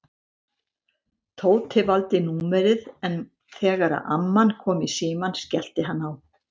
Tóti valdi númerið en þegar amman kom í símann skellti hann á.